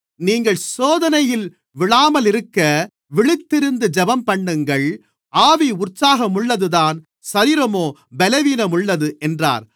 நீங்கள் சோதனையில் விழாமலிருக்க விழித்திருந்து ஜெபம்பண்ணுங்கள் ஆவி உற்சாகமுள்ளதுதான் சரீரமோ பலவீனமுள்ளது என்றார்